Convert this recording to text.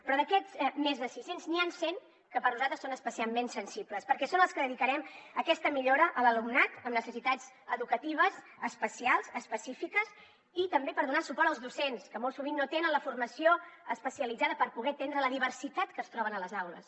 però d’aquests més de sis cents n’hi han cent que per nosaltres són especialment sensibles perquè són els que dedicarem a aquesta millora de l’alumnat amb necessitats educatives especials específiques i també a donar suport als docents que molt sovint no tenen la formació especialitzada per poder atendre la diversitat que es troben a les aules